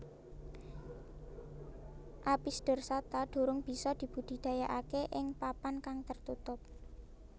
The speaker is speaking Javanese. Apis dorsata durung bisa dibudidayakake ing papan kang tertutup